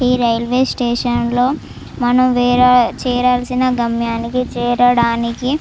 ఈ railway station లో మనము వేరే చేరాల్సిన గమ్యాన్ని కి చేరడానికి --